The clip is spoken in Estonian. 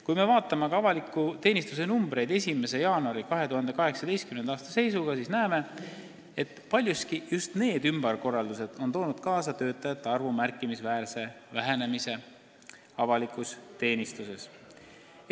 Kui me vaatame aga avaliku teenistuse numbreid seisuga 1. jaanuar 2018, siis näeme, et paljuski just need ümberkorraldused on toonud kaasa töötajate arvu märkimisväärse vähenemise avalikus teenistuses.